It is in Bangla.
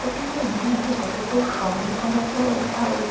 এটা ঠিক মনে নেই। যতদূর সম্ভবত এটা ওই--